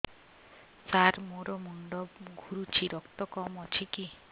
ସାର ମୋର ମୁଣ୍ଡ ଘୁରୁଛି ରକ୍ତ କମ ଅଛି କି